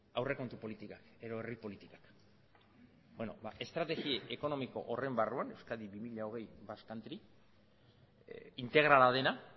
aurrekontu politikak edo herri politikak beno ba estrategi ekonomiko horren barruan euskadi bi mila hogei basque country integrala dena